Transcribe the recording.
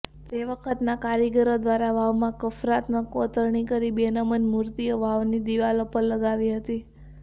તે વખતના કારીગરો દ્વારા વાવમાં કફ્રાત્મક કોતરણી કરી બેનમૂન મૂર્તિઓ વાવની દિૃવાલો પર લગાવી હતી